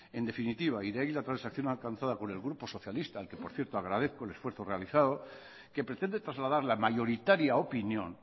en definitiva y de ahí la transacción alcanzada por el grupo socialista que por cierto agradezco el esfuerzo realizado que pretende trasladar la mayoritaria opinión